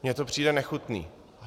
Mně to přijde nechutné.